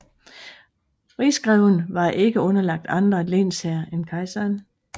Rigsgreven var ikke underlagt andre lensherrer end kejseren